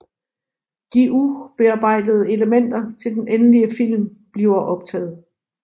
De ubearbejdede elementer til den endelige film bliver optaget